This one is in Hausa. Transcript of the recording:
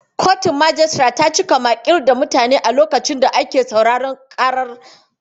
Kotun majistare ta cika maƙil da mutane a lokacin da ake sauraron ƙarar.